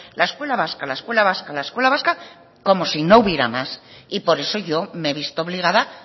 la escuela vasca la escuela vasca la escuela vasca como si no hubiera más y por eso yo me he visto obligada